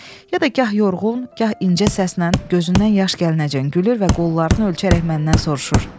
Ya da gah yorğun, gah incə səslə gözündən yaş gəlincən gülür və qollarını ölçərək məndən soruşur.